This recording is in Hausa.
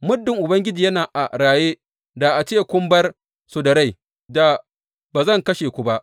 Muddin Ubangiji yana a raye, da a ce kun bar su da rai, da ba zan kashe ku ba.